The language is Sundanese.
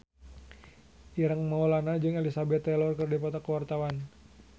Ireng Maulana jeung Elizabeth Taylor keur dipoto ku wartawan